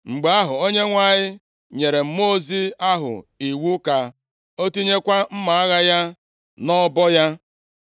Mgbe ahụ, Onyenwe anyị nyere mmụọ ozi ahụ iwu ka o tinyekwa mma agha ya nʼọbọ ya.